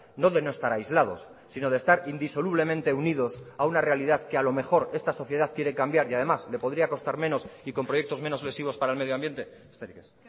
no de no estar aislados sino de estar indisolublemente unidos a una realidad que a lo mejor esta sociedad quiere cambiar y además le podría costar menos y con proyectos menos lesivos para el medioambiente besterik ez